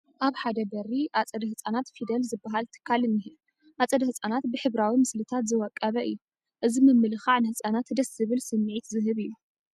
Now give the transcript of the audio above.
ኣብ ሓደ በሪ ኣፀደ ህፃናት ፊደል ዝበሃል ትካል እኒሀ፡፡ ኣፀደ ህፃናት ብሕብራዊ ምስሊታት ዝወቀበ እዩ፡፡ እዚ ምምልካዕ ንህፃናት ደስ ዝብል ስምዒት ዝህብ እዩ፡፡